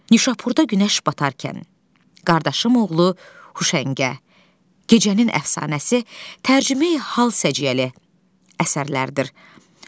Nişapurda günəş batarkən, Qardaşım oğlu Huşəngə, Gecənin əfsanəsi, Tərcümeyi hal səciyyəri əsərlərdir.